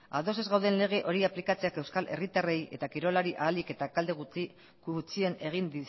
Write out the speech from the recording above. ados ez gauden lege hori aplikatzeak euskal herritarrei eta kirolari ahalik eta kalte gutxien egin